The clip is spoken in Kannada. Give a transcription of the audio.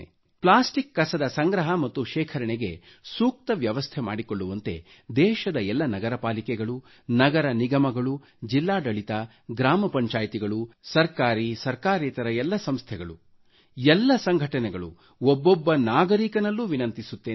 ಪ್ಲಾಸ್ಟಿಕ್ ಕಸ ಸಂಗ್ರಹ ಮತ್ತು ಶೇಖರಣೆಗೆ ಸೂಕ್ತ ವ್ಯವಸ್ಥೆ ಮಾಡಿಕೊಳ್ಳುವಂತೆ ದೇಶದ ಎಲ್ಲ ನಗರಪಾಲಿಕೆಗಳು ನಗರ ನಿಗಮಗಳು ಜಿಲ್ಲಾಡಳಿತ ಗ್ರಾಮ ಪಂಚಾಯ್ತಿಗಳು ಸರ್ಕಾರಿ ಸರ್ಕಾರೇತರ ಎಲ್ಲ ಸಂಸ್ಥೆಗಳು ಎಲ್ಲ ಸಂಘಟನೆಗಳು ಒಬ್ಬೊಬ್ಬ ನಾಗರಿಕನಲ್ಲೂ ವಿನಂತಿಸುತ್ತೇನೆ